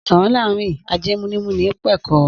Sarn larin ase ni muni pekero.